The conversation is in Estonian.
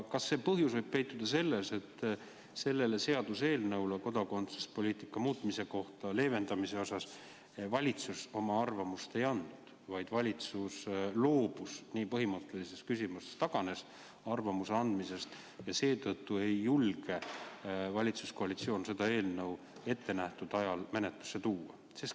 Kas põhjus võib peituda selles, et kodakondsuspoliitika leevendamise eelnõu kohta valitsus oma arvamust ei avaldanud, vaid loobus nii põhimõttelises küsimuses arvamuse avaldamisest ja seetõttu ei julge valitsuskoalitsioon seda eelnõu ettenähtud ajal menetlusse tuua?